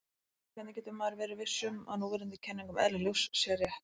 En hvernig getur maður verið viss um að núverandi kenning um eðli ljós sé rétt?